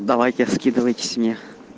давайте скидываетесь мне